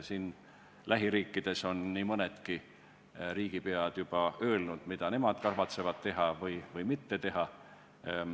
Siin lähiriikides on nii mõnedki riigipead juba öelnud, mida nemad kavatsevad teha või mitte teha.